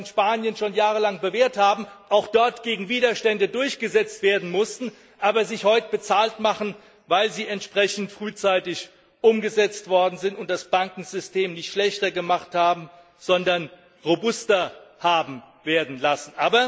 in Spanien schon jahrelang bewährt haben, auch dort gegen Widerstände durchgesetzt werden mussten, aber sich heute bezahlt machen, weil sie entsprechend frühzeitig umgesetzt worden sind und das Bankensystem nicht schlechter gemacht haben, sondern robuster haben werden lassen.